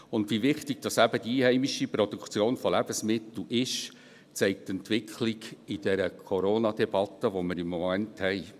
Und wie wichtig eben die einheimische Produktion von Lebensmitteln ist, zeigt die Entwicklung in dieser Corona-Debatte, die wir im Moment haben.